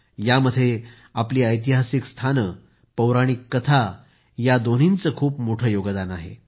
यामध्येही आपली ऐतिहासिक स्थाने आणि पौराणिक कथा अशा दोन्हींचे खूप मोठे योगदान आहे